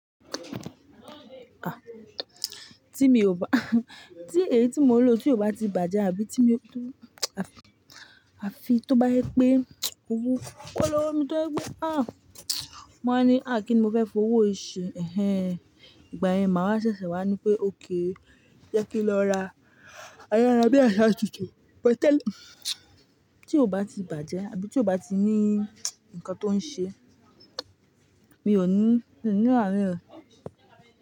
Ah! Tí mi ò bá, tí èyí tí mo ń lò tí kò bá ti bàjẹ́ àbí tí mí tó, àfi, àfi tó bá jẹ́ pé owó kọ́ ló wà, mi tó pé ah! Mo wá ní, à kí ni mo fẹ́ fi owó yìí ṣe, ẹ̀hen. Ìgbà yẹn màá ṣẹ̀sẹ̀ wá ní pé, ok jẹ́ kí n lọ ra ayárà bí àṣá tuntun. Bẹ́ẹ̀ tẹ́lẹ̀ tí kò bá ti bàjẹ́ àbí tí kò bá ti ní ǹkan tó ń ṣe, mi ò ní, ní ìrárí rẹ̀